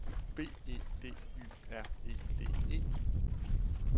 B E D Y R E D E